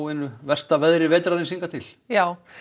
einu versta veðri haustsins hingað til já